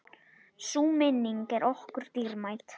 Sú minning er okkur dýrmæt.